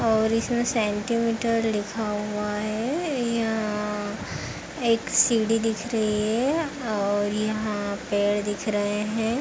और इसमें सेंटीमीटर लिखा हुआ है। यहाँ एक सीढ़ी दिख रही है और यहाँ पेड़ दिख रहे हैं।